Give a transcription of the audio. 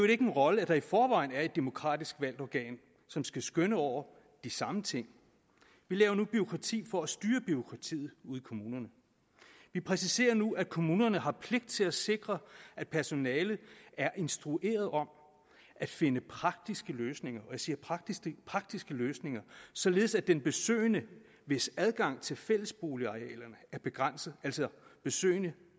ikke nogen rolle at der i forvejen er et demokratisk valgt organ som skal skønne over de samme ting vi laver nu bureaukrati for at styre bureaukratiet ude i kommunerne vi præciserer nu at kommunerne har pligt til at sikre at personalet er instrueret om at finde praktiske løsninger og jeg siger praktiske praktiske løsninger således at den besøgende hvis adgang til fællesboligarealerne er begrænset altså at besøgende